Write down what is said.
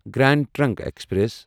grand trunk express